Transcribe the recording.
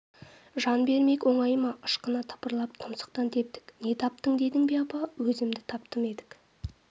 жан бермек оңай ма ышқына тыпырлап тұмсықтан тептік не таптың дедің бе апа өзімді таптым едік